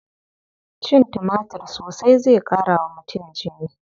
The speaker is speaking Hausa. Cin tumatir sosai zai ƙara wa mutum jini.